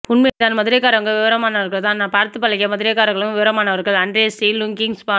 உண்மைதான் மதுரைக்காரங்க விவரமானவர்கள்தான் நான்பார்த்துப்பழகிய மதுரைக்காரர்களும் விவரமானவர்கள் அன்றைய ஸ்ரீ லுக்கிங் ஸ்மார்ட்